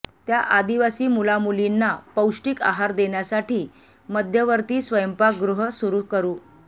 त्या आदिवासी मुलामुलींना पौष्टिक आहार देण्यासाठी मध्यवर्ती स्वयंपाकगृह सुरू करू